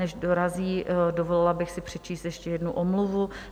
Než dorazí, dovolila bych si přečíst ještě jednu omluvu.